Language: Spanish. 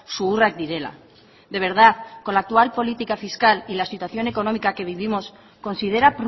zuhurrak direla de verdad con la actual política fiscal y la situación económica que vivimos considera